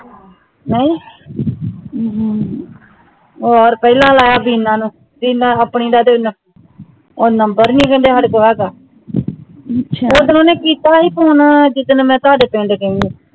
ਨਾਈ ਔਰ ਪਹਿਲਾਂ ਲਾਇਆ ਵੀਨਾ ਨੂੰ ਵੀਨਾ ਆਪਣੀ ਦਾ ਹੁਣ number ਨਹੀਂ ਦਿੰਦੇ ਹੁਣ ਉਹ ਦਿਨ ਓਹਨੇ ਕੀਤਾ ਸੀ phone ਜਿਦਣ ਮੈਂ ਥੋੜੇ ਪਿੰਡ ਗਈ ਹੈ